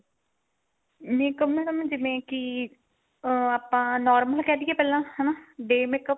makeup madam ਜਿਵੇਂ ਕੀ ਅਹ ਆਪਾਂ normal ਕਹਿ ਦੀਏ ਪਹਿਲਾਂ ਹਨਾ day makeup